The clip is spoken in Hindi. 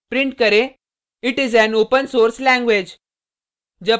प्रिंट करें it is an open source language